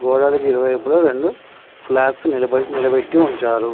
గోడలకు ఇరు వైపులా ఇప్పుడు రెండు ఫ్లాగ్స్ నిలబడి నిలబెట్టి ఉంచారు.